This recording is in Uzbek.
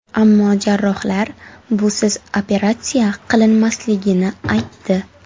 Ammo jarrohlar busiz operatsiya qilinmasligini aytdi.